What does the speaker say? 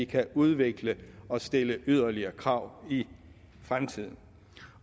kan udvikle det og stille yderligere krav i fremtiden